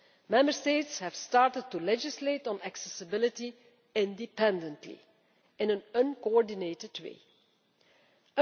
Member States have started to legislate on accessibility independently in an uncoordinated way.